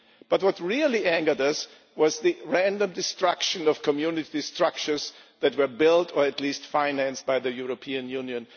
But what really angered us was the random destruction of community structures that were built, or at least financed, by the European Union.